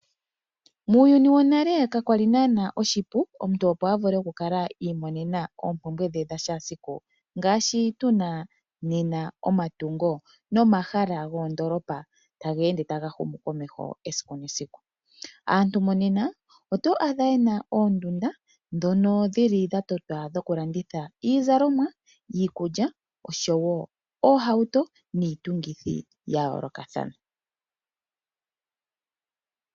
Muuyuni wonale kakwali naanaa oshipu omuntu opo avule okukala iimonena oompumbwe dhe dhashaasiku, ngaashi tuna nena omatungo nomahala goondoolopa taga ende taga humu momeho esiku nesiku. Aantu mo nena oto adha yena oondunda dhono dhili dha totwa dhoku landitha iizalomwa, iikulya oshowo oohauto niitungithi ya yoolokathana.